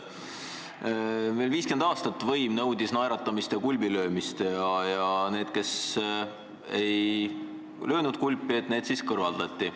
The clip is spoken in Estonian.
Meil 50 aastat võim nõudis naeratamist ja kulbilöömist ja need, kes ei löönud, kõrvaldati.